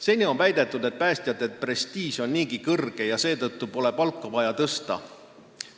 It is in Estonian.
Seni on väidetud, et päästjate prestiiž on kõrge ja seetõttu pole palka vaja tõsta.